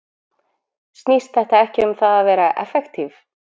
Snýst þetta ekki um það að vera effektívir?